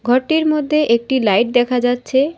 ঘরটির মদ্যে একটি লাইট দেখা যাচ্ছে।